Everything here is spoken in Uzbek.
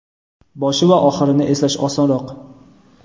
Boshi va oxirini eslash osonroq.